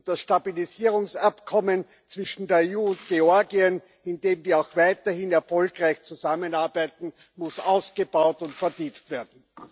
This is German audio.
Und das Stabilisierungsabkommen zwischen der EU und Georgien, in dem wir auch weiterhin erfolgreich zusammenarbeiten, muss ausgebaut und vertieft werden.